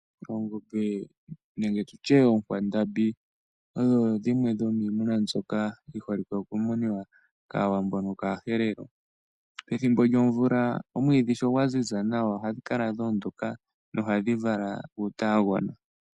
Oongombe nenge tutye oonkwandambi odho dhimwe dhomiimuna mbyoka dhi holike oku munwa kAawambo noshowo kaaHerero. Pethimbo lyomvula omwiidhi sho gwa ziza nawa ohadhi kala dha ondoka na ohadhi vala utaanagona.